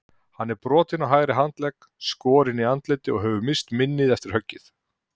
Hann er brotinn á hægri handlegg, skorinn í andliti og hefur misst minnið eftir höggið.